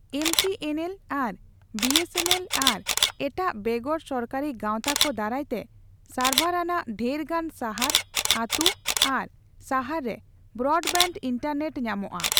MTNL ᱟᱨ BSNL ᱟᱨ ᱮᱴᱟᱜ ᱵᱮᱜᱚᱨ ᱥᱚᱨᱠᱟᱨᱤ ᱜᱟᱣᱛᱟ ᱠᱚ ᱫᱟᱨᱟᱭᱛᱮ ᱥᱟᱨᱵᱷᱟᱨ ᱟᱱᱟᱜ ᱰᱷᱮᱨᱜᱟᱱ ᱥᱟᱦᱟᱨ, ᱟᱹᱛᱩ ᱟᱨ ᱥᱟᱦᱟᱨ ᱨᱮ ᱵᱨᱚᱰᱵᱮᱱᱰ ᱤᱱᱴᱟᱨᱱᱮᱴ ᱧᱟᱢᱚᱜᱼᱟ ᱾